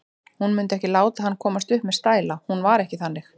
Hún mundi ekki láta hann komast upp með stæla, hún var ekki þannig.